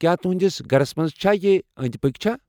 کیٛاہ تُہنٛدِس گھرس منٛز چھا یہ أنٛدۍ پٔکۍ چھا ؟